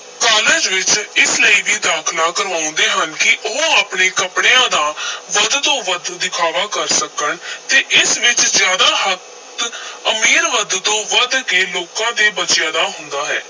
College ਵਿਚ ਇਸ ਲਈ ਵੀ ਦਾਖ਼ਲਾ ਕਰਵਾਉਂਦੇ ਹਨ ਕਿ ਉਹ ਆਪਣੇ ਕੱਪੜਿਆਂ ਦਾ ਵੱਧ ਤੋਂ ਵੱਧ ਦਿਖਾਵਾ ਕਰ ਸਕਣ ਤੇ ਇਸ ਵਿਚ ਜ਼ਿਆਦਾ ਹੱਥ ਅਮੀਰ ਵੱਧ ਤੋਂ ਵੱਧ ਕੇ ਲੋਕਾਂ ਦੇ ਬੱਚਿਆਂ ਦਾ ਹੁੰਦਾ ਹੈ।